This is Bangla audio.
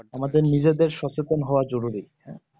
আমাদের নিজেদের সচেতন হওয়া জরুরি